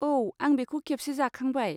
औ, आं बेखौ खेबसे जाखांबाय।